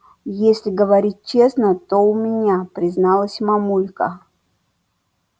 если говорить честно то у меня призналась мамулька